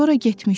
Sonra getmişdi.